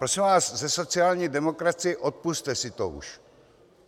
Prosím vás ze sociální demokracie, odpusťte si to už.